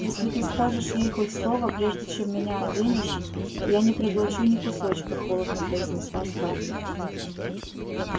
если ты скажешь ей хоть слово прежде чем меня оденешь я не проглочу ни кусочка холодно произнесла скарлетт